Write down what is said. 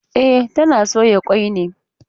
E, tana soya kwai ne.